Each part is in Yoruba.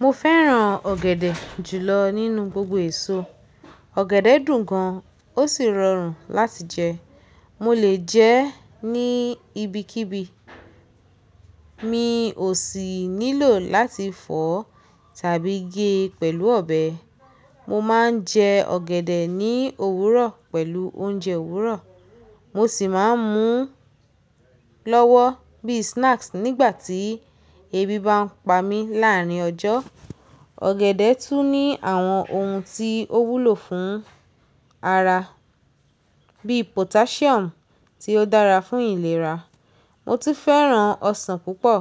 Mo fẹ́ràn ọ̀gẹ̀dẹ̀ jùlọ nínú gbogbo èso. Ọ̀gẹ̀dẹ̀ dùn gan, ó sì rọrùn láti jẹ. Mo lè jẹ ẹ́ ní ibikíbi, mi ò sì nílò láti fọ̀ tàbí gé pẹ̀lú ọbẹ̀. Mo máa ń jẹ ọ̀gẹ̀dẹ̀ ní òwúrọ̀ pẹ̀lú oúnjẹ òwúrọ̀, mo sì máa ń múu lọ́wọ́ bí i snacks nígbà tí ebi bá ń pa mí láàárin ọjọ́. Ọ̀gẹ̀dẹ̀ tún ní àwọn oun tí ó wúlò fún ara bí i potassium tí ó dára fún ìlera. Mo tú fẹ́ràn ọsàn púpọ̀.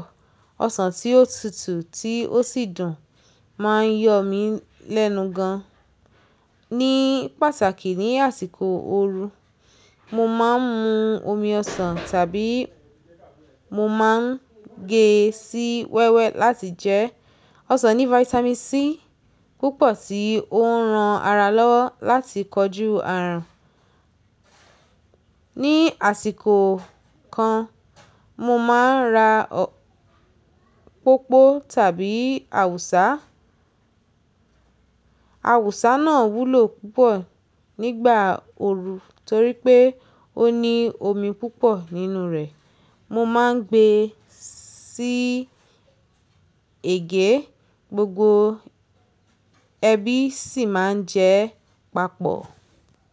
Ọsàn tí ó tutù tí ó sì dùn máa ń yọ̀ mí lẹ́nu gan ní pàtàkì ní àsìkò ooru. Mo máa ń mu omi ọsàn tàbí mo máa ń gé e sí wẹ́wẹ́ láti jẹ. Ọsàn ní Vitamin C púpọ̀ tí ó ń ran ara lọ́wọ́ láti kojú àrùn. Ni àsìkò kan mo máa ń ra pópó tàbí awùsá. Awùsá náà wúlò púpọ̀ nígbà ooru torí pé ó ní omi púpọ̀ nínú rẹ̀. Mo máa ń gbé e sí ègé, gbogbo ẹbí sì máa ń jẹ ẹ́ papọ̀